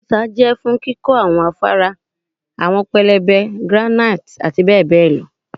okuta jẹ fun kikọ awọn afara, awọn pẹlẹbẹ granite ati bẹbẹ lọ